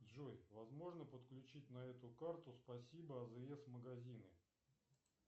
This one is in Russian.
джой возможно подключить на эту карту спасибо азс магазины